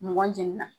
Mɔgɔ jeni na